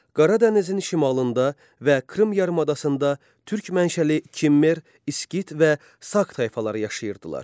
Qaradənizin şimalında və Krım yarımadasında türk mənşəli Kimmer, İskit və Sak tayfaları yaşayırdılar.